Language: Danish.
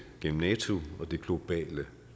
gennem nato og det globale